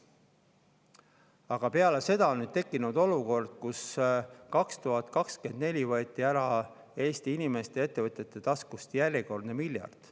Aga peale seda on tekkinud olukord, kus 2024 võeti Eesti inimeste ja ettevõtjate taskust järjekordne miljard.